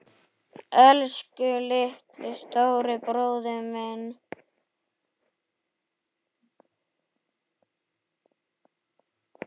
Elsku litli, stóri bróðir minn.